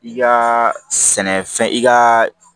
I ka sɛnɛfɛn i ka